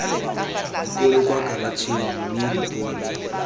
dipone kwa karatšheng mme dipone